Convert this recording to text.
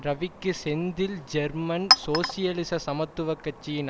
ரவிக்கு செந்தில் ஜெர்மன் சோசியலிச சமத்துவ கட்சியின்